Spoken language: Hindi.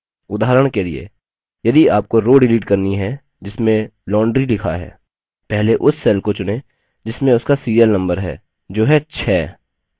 उदाहरण के लिए यदि आपको row डिलीट करनी है जिसमें laundry लिखा है पहले उस cell को चुनें जिसमें उसका serial number है जो है 6